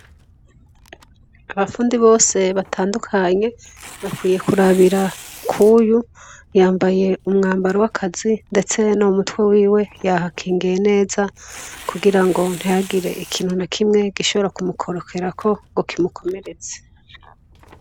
Abafundi bose batandukanye, bakwiye kurabira k'uyu, yambaye umwambaro w'akazi, ndetse no mu mutwe hiwe yahakingiye neza kugira ngo ntihagire ikintu na kimwe gishobora kumukorokerako ngo kimukomeretse.